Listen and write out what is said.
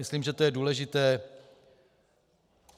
Myslím, že to je důležité.